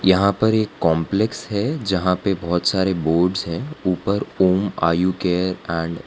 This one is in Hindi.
यहां पर एक कॉम्प्लेक्स है जहां पे बहोत सारे बोर्ड्स है ऊपर ओम आयु केयर एंड --